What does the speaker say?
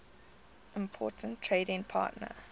important trading partner